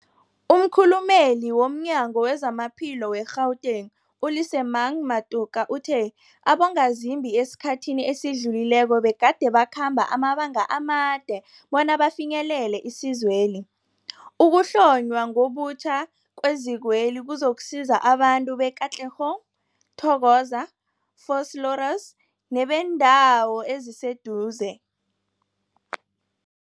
Umkhulumeli womNyango weZamaphilo we-Gauteng, u-Lesemang Matuka uthe abongazimbi esikhathini esidlulileko begade bakhamba amabanga amade bona bafinyelele isizweli. Ukuhlonywa ngobutjha kwezikweli kuzokusiza abantu be-Katlehong, Thokoza, Vosloorus nebeendawo eziseduze.